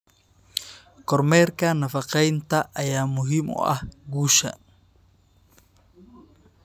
Kormeerka nafaqeynta ayaa muhiim u ah guusha.